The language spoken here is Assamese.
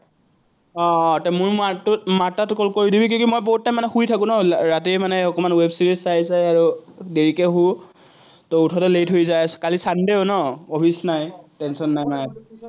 আহ বহুত time মানে শুই থাকো ন, ৰাতি অকণমান web series চাই চাই আৰু। দেৰিকে শোঁ। উঠোতে late হৈ যায়। কালি sunday ও ন, অফিচ নাই। tension নাই মানে।